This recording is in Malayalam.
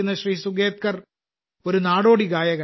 സുഗേത്കർ ഒരു നാടോടി ഗായകനാണ്